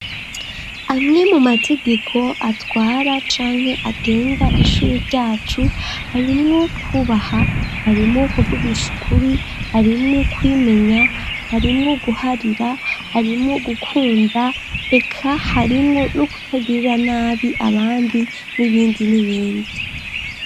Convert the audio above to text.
Amwe mu mategeko atwara canke agenga ishure ryacu, harimwo kwubaha, harimwo kuvugisha ukuri, harimwo kwimenya, harimwo guharira, harimwo gukunda, eka harimwo no kutagirira nabi abandi n'ibindi n'ibindi.